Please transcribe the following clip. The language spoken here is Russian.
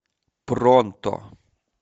пронто